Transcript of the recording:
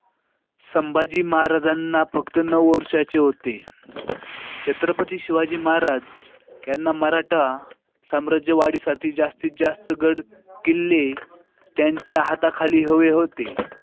संभाजी महाराजांना फक्त नऊ वर्षांचे होते. छत्रपती शिवाजी महाराज यांना मराठा साम्राज्य वाढीसाठी जास्तीत जास्त गड किल्ले त्यांच्या हाताखाली हवे होते.